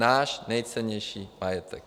Náš nejcennější majetek.